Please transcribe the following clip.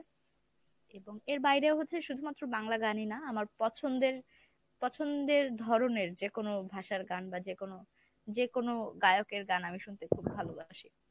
এবং এর বাহিরে হচ্ছে শুধু মাত্র বাংলা গান ই না আমার পছন্দের পছন্দের ধরণের যে কোনো ভাষার গান বা যেকোনো যেকোনো গায়কের গান আমি শুনতে খুব ভালোবাসি ।